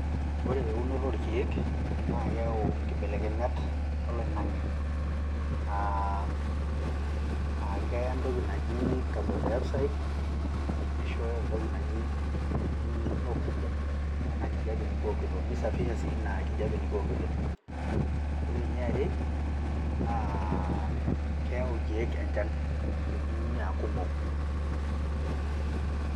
Ore eunoto oorkiek, naa keyau inkibelekenyat oloing'ange, keya entoki naji carbon dioxide, nishooyo entoki naji oxygen, ena kijape nikiokito, nisafisha sii ina kijape nikiokito. Ore eniare, naa keyau irkeek enchan teneuni aa kumok.